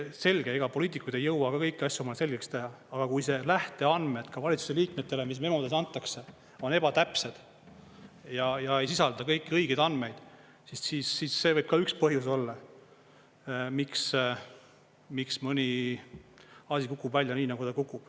Selge, ega poliitikud ei jõua ka kõiki asju omale selgeks teha, aga kui lähteandmed ka valitsuse liikmetele, mis memodes antakse, on ebatäpsed ja ei sisalda kõiki õigeid andmeid, siis see võib ka üks põhjus olla, miks mõni asi kukub välja nii, nagu ta kukub.